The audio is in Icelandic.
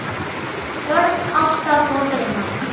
Börn ástar og drauma